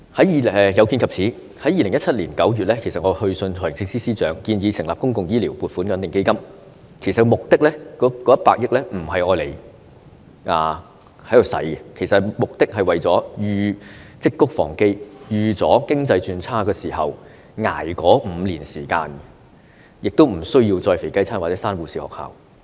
有見及此，我在2017年9月去信財政司司長，建議成立公共醫療撥款穩定基金，目的不是要動用100億元，而是為了積穀防飢，預計經濟轉差時，醫管局可以應付5年時間的開支，亦不需要再推出"肥雞餐"或關閉護士學校。